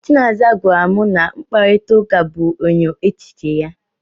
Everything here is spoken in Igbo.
Chinaza gwara m na mkparịtaụka bụ enyo echiche ya.